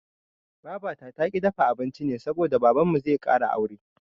Babata taƙi ta dafa abinci ne saboda Babanmu zai ƙara aure.